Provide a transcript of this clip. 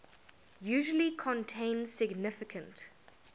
usually contain significant